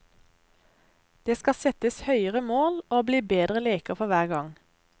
Det skal settes høyere mål og bli bedre leker for hver gang.